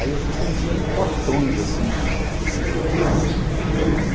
Aí a gente vendia em potões assim de cinco quilos.